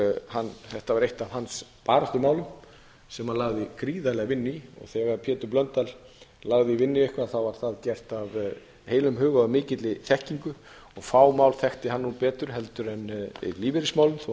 þetta var eitt af baráttumálum hans sem hann lagði gríðarlega vinnu í þegar pétur blöndal lagði vinnu í eitthvað var það gert af heilum hug og af mikilli þekkingu og fá mál þekkti hann betur en lífeyrismálin þó að hann þekkti